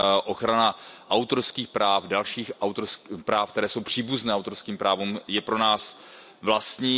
Ochrana autorských práv, dalších práv, která jsou příbuzná autorským právům, je pro nás vlastní.